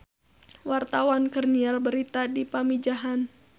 Wartawan keur nyiar berita di Pamijahan